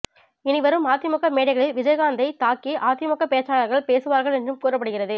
இனி வரும் அதிமுக மேடைகளில் விஜயகாந்த்தைத் தாக்கி அதிமுக பேச்சாளர்கள் பேசுவார்கள் என்றும் கூறப்படுகிறது